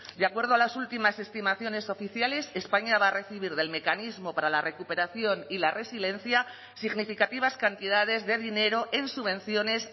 de acuerdo a las últimas estimaciones oficiales españa va a recibir del mecanismo para la recuperación y la resiliencia significativas cantidades de dinero en subvenciones